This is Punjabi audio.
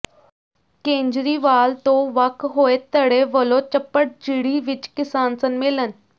ਕੇਜਰੀਵਾਲ ਤੋਂ ਵੱਖ ਹੋਏ ਧੜੇ ਵੱਲੋਂ ਚੱਪੜਚਿੜੀ ਵਿੱਚ ਕਿਸਾਨ ਸੰਮੇਲਨ